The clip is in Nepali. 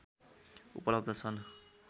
उपलब्ध छन्